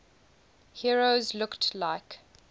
heroes looked like